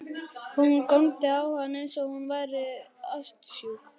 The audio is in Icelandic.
Hún góndi á hann eins og hún væri ástsjúk.